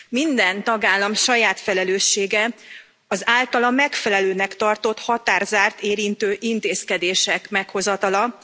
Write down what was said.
Minden tagállam saját felelőssége az általa megfelelőnek tartott határzárat érintő intézkedések meghozatala.